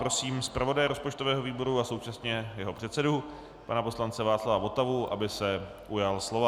Prosím zpravodaje rozpočtového výboru a současně jeho předsedu pana poslance Václava Votavu, aby se ujal slova.